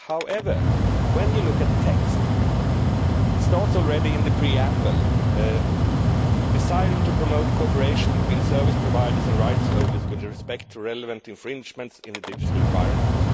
However, when you look at the text, it is already in the preamble, desiring to promote cooperation between service providers and rights holders with respect to relevant infringements in the digital environment'.